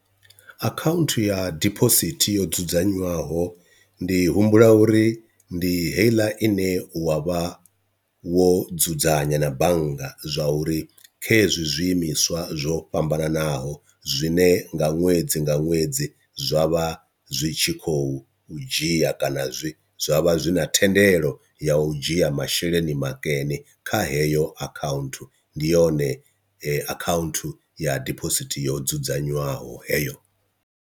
Akhaunthu ya dibosithi yo dzudzanywaho ndi humbula uri ndi heiḽa ine wa vha wo dzudzanya na bannga zwa uri kha hezwi zwiimiswa zwo fhambananaho zwine nga ṅwedzi nga ṅwedzi zwa vha zwi tshi khou dzhia kana zwi zwa vha zwi na thendelo ya u dzhia masheleni makene kha heyo akhaunthu, ndi yone akhaunthu ya dibosithi yo dzudzanywaho heyo.